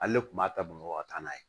Hali ne tun b'a ta bamakɔ ka taa n'a ye